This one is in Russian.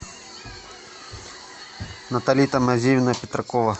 натали тамазиевна петракова